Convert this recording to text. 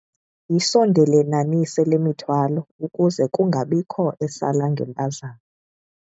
Yisondelelanise le mithwalo ukuze kungabikho esala ngempazamo.